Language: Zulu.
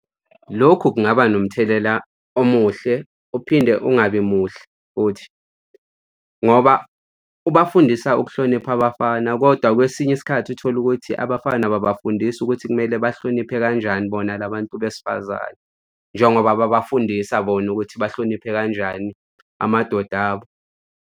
Lokhu kungaba nomthelela omuhle uphinde ungabi muhle futhi, ngoba ubafundisa ukuhlonipha abafana, kodwa kwesinye isikhathi uthola ukuthi abafana ababafundisi ukuthi kumele bahloniphe kanjani bona la bantu besifazane, njengobaba babafundisa bona ukuthi bahloniphe kanjani amadoda abo.